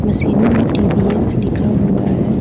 सिनो में टी_वी_एस लिखा हुआ है।